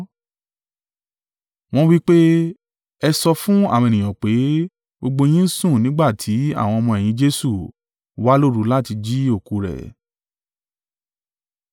Wọ́n wí pé, “Ẹ sọ fún àwọn ènìyàn pé, ‘Gbogbo yín sùn nígbà tí àwọn ọmọ-ẹ̀yìn Jesu wá lóru láti jí òkú rẹ̀.’